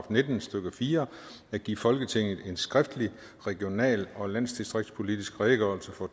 nitten stykke fire at give folketinget en skriftlig regional og landdistriktspolitisk redegørelse